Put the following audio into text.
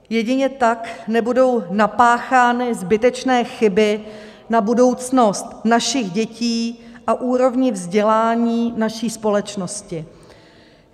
Jedině tak nebudou napáchány zbytečné chyby na budoucnost našich dětí a úrovni vzdělání naší společnosti.